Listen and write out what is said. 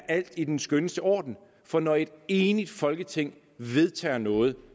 alt i den skønneste orden for når et enigt folketing vedtager noget